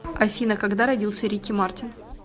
афина когда родился рики мартин